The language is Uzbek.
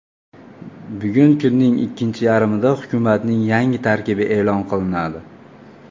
Bugun kunning ikkinchi yarmida hukumatning yangi tarkibi e’lon qilinadi.